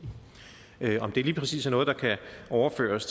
om det lige præcis er noget der kan overføres